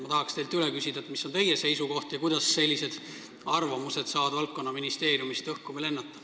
Ma tahaks teilt üle küsida, mis on teie seisukoht ja kuidas sellised arvamused saavad valdkonna ministeeriumist õhku lennata.